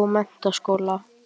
og menntaskóla.